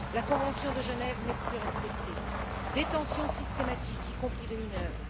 La convention de Genève n'est plus respectée détention systématique, y compris des mineurs